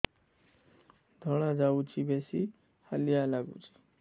ଧଳା ଯାଉଛି ବେଶି ହାଲିଆ ଲାଗୁଚି